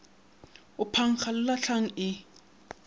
ga phankga le lahlang e